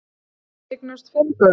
Þau eignuðust fimm börn